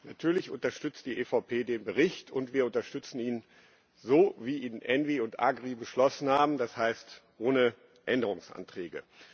Natürlich unterstützt die EVP Fraktion den Bericht, und wir unterstützen ihn so, wie ihn ENVI und AGRI beschlossen haben, das heißt, ohne Änderungsanträge.